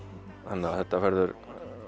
þetta verður